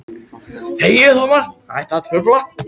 En innst inni veit hún að það mun ekki takast.